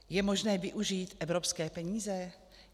Je možné využít evropské peníze?